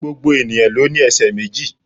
Gbogbo ènìyàn ló ní esè méjì